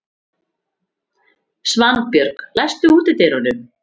Svanbjörg, læstu útidyrunum.